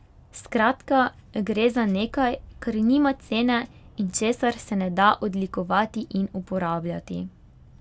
Skratka, gre za nekaj, kar nima cene in česar se ne da odlikovati in uporabljati.